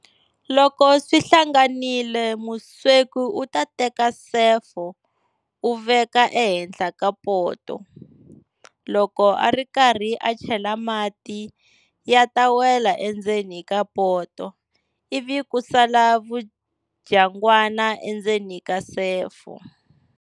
Loko swi hlanganile musweki u ta teka sefo u veka ehenhla ka poto. Loko ari karhi a chela mati ya ta wela endzeni ka poto, ivi ku sala vudyangwana endzeni ka sefo.